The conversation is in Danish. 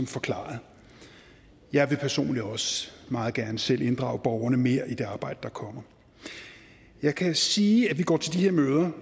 forklaret jeg vil personligt også meget gerne selv inddrage borgerne mere i det arbejde der kommer jeg kan sige at vi går til de her møder